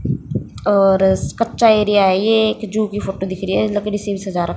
और कच्चा एरिया है ये एक जू की फोटो दिख रही है लकड़ी सी भी सजा र--